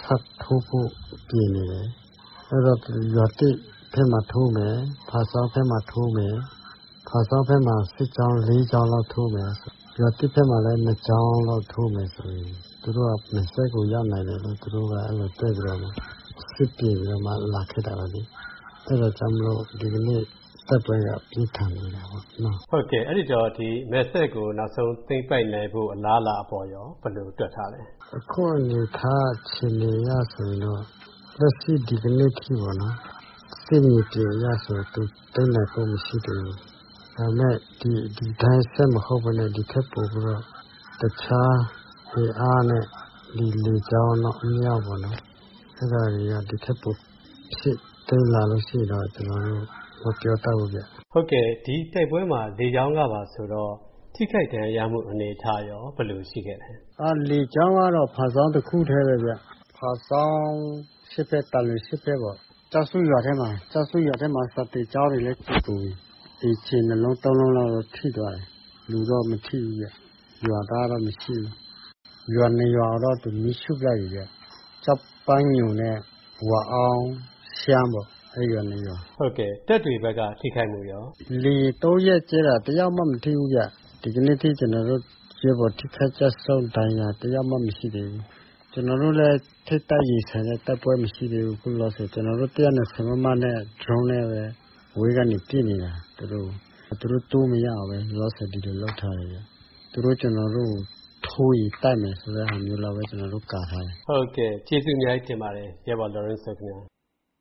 ထပ်ထိုးဖို့ ပြင်နေတယ်။ အဲဒီတော့ ရွာသစ်ဘက်မှာ ထိုးမယ်၊ ဖားဆောင်းဘက်မှာ ထိုးမယ်။ ဖားဆောင်းဘက်မှာ စစ်ကြောင်း ၄ ကြောင်းလောက်ထိုးမယ်။ ရွာသစ်ဘက်မှာလည်း ၂ ကြောင်းလောက် ထိုးမယ်ဆိုရင် မယ်စဲ့ကို ရောက်နိုင်တယ်လို့ သူတို့ဘက်က အဲဒီလို တွက်ပြီး စစ်ပြင်နေတဲ့ သဘောပဲလေ။ အဲဒါကြောင့်မို့လို့ ဒီကနေ့ တိုက်ပွဲက ပြင်းထန်နေတာပေါ့။ ဟုတ်ကဲ့ အဲဒီတော့ ဒီ မယ်စဲ့ကို သိမ်းပိုက်နိုင်ဖို့ အလားအလာ ဘယ်လို တွက်ထားလဲ။ ခုလက်ရှိ ဒီကနေ့ထိ စစ်မြေပြင် အခြေအနေအရ ပေါ့နော် သူသိမ်းနိုင်ဖို့ မရှိသေးဘူး။ ဒါပေမဲ့ ဒီအတိုင်း မဟုတ်ပဲနဲ့ ဒီထက်ပိုပြီးတော့ တခြားအင်အားနဲ့ လေကြောင်းတို့ အမြှောက်တို့နဲ့ ထပ်ထိုးလာရင်တော့ ကျနော်တို့ မပြောတတ်ဘူးဗျ။ ဟုတ်ကဲ့ ဒီတိုက်ပွဲမှာ လေကြောင်းကပါဆိုတော့ ထိခိုက်ဒဏ်ရာရမှု အနေထားရော ဘယ်လိုရှိသလဲ။ အော် လေကြောင်းကတော့ ဖာဆောင်းတခုထဲပဲဗျ။ ဖာဆောင်းအရှေ့ဘက် သံလွင်အရှေ့ဘက်ပေါ့။ ကျောက်စုရွာထဲမှာ။ ကျောက်စုရွာထဲမှာ စာသင်ကျောင်းတွေလည်း ပျက်ကုန်ပြီ။အိမ်ခြေ ၂ လုံး ၃ လုံးကတော့ ထိသွားတယ်။ လူတော့ မထိဘူးဗျ။ ရွာသားတော့ မရှိဘူး။ ၂ ရွာတော့ သူမီးရှို့ ပစ်လိုက်ပြီဗျ။ ကျောက်ပန်းညိုနဲ့ ဝါအောင်း။ ရှမ်းပေါ့။ ရှမ်းရွာ ၂ ရွာ။ တပ်တွေဘက်က ထိခိုက်မှုရော။ လေယာဉ် ၃ ရက်ကြဲတာ၊ တယောက်မှ မထိဘူး။ ဒီကနေ့ အထိ ကျနော်တို့ ရဲဘော် ထိခိုက်ကျဆုံး ဒဏ်ရာရတာ တယောက်မှ မရှိသေးဘူး။ ကျနော်တို့နဲ့ ထိပ်တိုက်ရင်ဆိုင် တိုက်ပွဲ မရှိသေးဘူး။ ဘာလို့လဲ ဆိုတော့ ကျနော်တို့ ၁၂၀ မမနဲ့ ဒရုန်းနဲ့ ပဲ အဝေးကနေ ပစ်နေတာသူတို့ကို။ သူတို့ လောလောဆယ် တိုးမရဘူး။ ဒီလိုပဲ လုပ်ထားတယ်ဗျ။ သူတို့ ကျနော်တို့ကို ထိုးရင်တိုက်မယ် ဆိုတာ လောက်ပဲ။ ကျနော်တို့ ကာထားတယ်။ ဟုတ်ကဲ့ ။ ကျေးဇူးအများကြီးတင်ပါတယ် ရဲဘော် လော်ရင်းစိုး ခင်ဗျ။